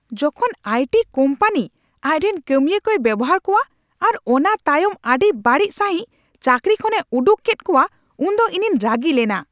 ᱡᱚᱠᱷᱚᱱ IT company ᱟᱡᱨᱮᱱ ᱠᱟᱹᱢᱤᱭᱟᱹ ᱠᱚᱭ ᱵᱮᱣᱦᱟᱨ ᱠᱚᱣᱟ ᱟᱨ ᱚᱱᱟᱛᱟᱭᱚᱢ ᱟᱹᱰᱤ ᱵᱟᱹᱲᱤᱡ ᱥᱟᱹᱦᱤᱡ ᱪᱟᱹᱠᱨᱤ ᱠᱷᱚᱱᱮ ᱩᱰᱩᱠ ᱠᱮᱫ ᱠᱚᱣᱟ ᱩᱱᱫᱚ ᱤᱧᱤᱧ ᱨᱟᱹᱜᱤ ᱞᱮᱱᱟ ᱾